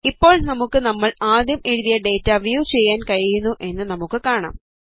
ഇപ്പോൾ നമുക്ക് നമ്മൾ ആദ്യം എഴുതിയ ഡേറ്റ വ്യൂ ചെയ്യാൻ കഴിയുന്നു എന്ന് നമുക്ക് കാണാം